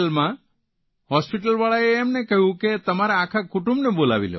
આગ્રાજીલ્લા હોસ્પીટલવાળાઓએ એમને કહ્યું કે તમારા આખા કુટુંબને બોલાવી લો